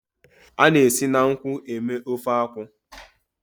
A na-esi na nkwụ eme ofe akwụ.